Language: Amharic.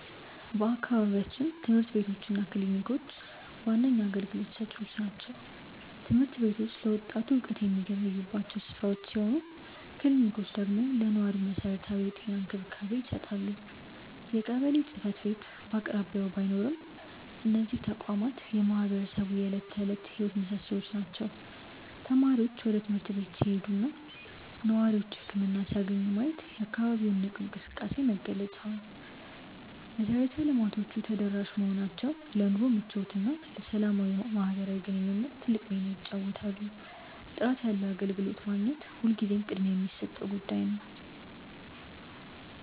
በአካባቢያችን ትምህርት ቤቶች እና ክሊኒኮች ዋነኛ አገልግሎት ሰጪዎች ናቸው። ትምህርት ቤቶቹ ለወጣቱ እውቀት የሚገበዩባቸው ስፍራዎች ሲሆኑ፣ ክሊኒኮቹ ደግሞ ለነዋሪው መሰረታዊ የጤና እንክብካቤ ይሰጣሉ። የቀበሌ ጽሕፈት ቤት በአቅራቢያ ባይኖርም፣ እነዚህ ተቋማት የማህበረሰቡ የዕለት ተዕለት ሕይወት ምሶሶዎች ናቸው። ተማሪዎች ወደ ትምህርት ቤት ሲሄዱና ነዋሪዎች ህክምና ሲያገኙ ማየት የአካባቢው ንቁ እንቅስቃሴ መገለጫ ነው። መሰረተ ልማቶቹ ተደራሽ መሆናቸው ለኑሮ ምቾትና ለሰላማዊ ማህበራዊ ግንኙነት ትልቅ ሚና ይጫወታሉ። ጥራት ያለው አገልግሎት ማግኘት ሁልጊዜም ቅድሚያ የሚሰጠው ጉዳይ ነው።